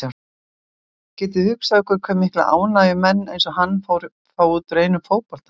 Getiði hugsað ykkur hve mikla ánægju menn eins og hann fá út úr einum fótboltaleik?